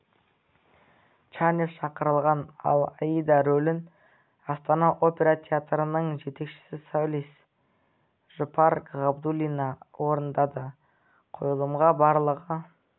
чанев шақырылған ал аида рөлін астана опера театрының жетекші солисі жұпар ғабдуллина орындады қойылымға барлығы